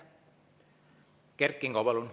Kert Kingo, palun!